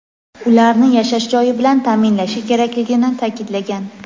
ularni yashash joyi bilan ta’minlashi kerakligini ta’kidlagan.